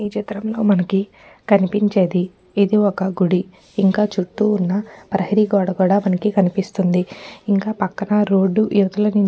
ఈచిత్రంలో మనకి కనిపించేది ఇది ఒక్క గుడిఇంకా చుట్టూ ఉన్న ప్రహరి గోడ కూడా మనకి కనిపిస్తుంది ఇంక పక్కన రోడ్డు ఇవతలనుంచి--